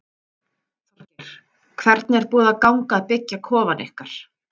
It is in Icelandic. Þorgeir: Hvernig er búið að ganga að byggja kofann ykkar?